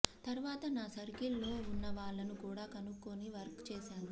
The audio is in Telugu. తరువాత నా సర్కిల్ లో ఉన్న వాళ్ళను కూడా కనుక్కొని వర్క్ చేశాను